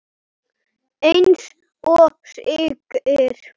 Eins og segir.